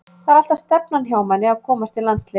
Það er alltaf stefnan hjá manni að komast í landsliðið.